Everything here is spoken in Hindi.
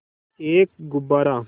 एक गुब्बारा